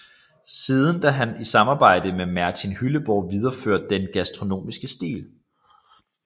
Siden da har han i samarbejde med Martin Hylleborg videreført den gastronomiske stil